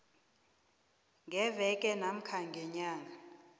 ngeveke namkha ngenyanga